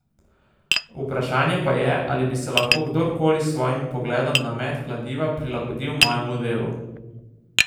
Vprašanje pa je, ali bi se lahko kdorkoli s svojimi pogledom na met kladiva prilagodil mojemu delu.